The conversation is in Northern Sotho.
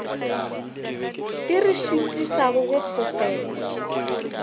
di re šitišago go fofela